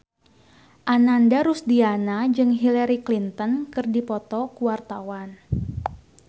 Ananda Rusdiana jeung Hillary Clinton keur dipoto ku wartawan